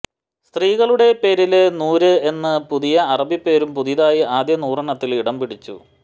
സ്ത്രീകളുടെ പേരില് നൂര് എന്ന പുതിയ അറബി പേരും പുതുതായി ആദ്യ നൂറെണ്ണത്തില് ഇടംപിടിച്ചു